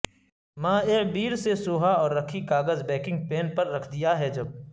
مائع بیر سے سوھا اور رکھی کاغذ بیکنگ پین پر رکھ دیا ہے جب